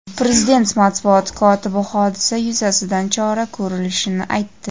Prezident matbuot kotibi hodisa yuzasidan chora ko‘rilishini aytdi.